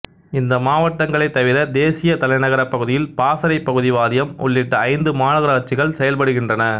இந்த மாவட்டங்களைத் தவிர தேசிய தலைநகரப் பகுதியில் பாசறைப் பகுதி வாரியம் உள்ளிட்ட ஐந்து மாநகராட்சிகள் செயல்படுகின்றன